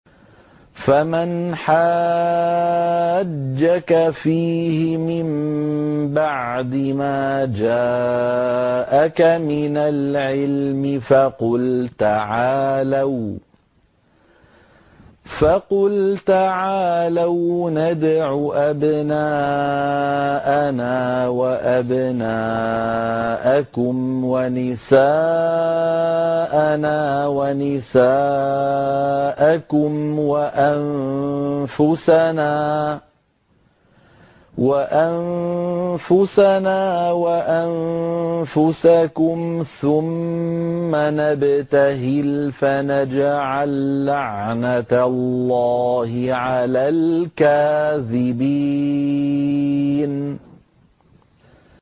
فَمَنْ حَاجَّكَ فِيهِ مِن بَعْدِ مَا جَاءَكَ مِنَ الْعِلْمِ فَقُلْ تَعَالَوْا نَدْعُ أَبْنَاءَنَا وَأَبْنَاءَكُمْ وَنِسَاءَنَا وَنِسَاءَكُمْ وَأَنفُسَنَا وَأَنفُسَكُمْ ثُمَّ نَبْتَهِلْ فَنَجْعَل لَّعْنَتَ اللَّهِ عَلَى الْكَاذِبِينَ